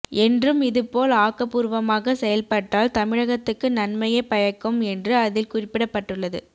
என்றும் இதுபோல் ஆக்கபூர்வமாக செயல்பட்டால் தமிழகத்துக்கு நன்மையே பயக்கும் என்று அதில் குறிப்பிடப்பட்டுள்ளது